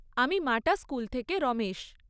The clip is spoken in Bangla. আমি মাটা স্কুল থেকে রমেশ।